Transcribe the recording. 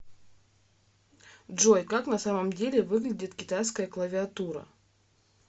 джой как на самом деле выглядит китайская клавиатура